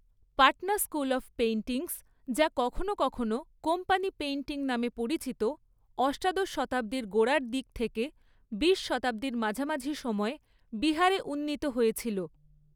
Patna school of painting, যা কখনও কখনও 'কোম্পানি পেইন্টিং' নামে পরিচিত, অষ্টাদশ শতাব্দীর গোড়ার দিক থেকে বিশ শতাব্দীর মাঝামাঝি সময়ে বিহারে উন্নীত হয়েছিল।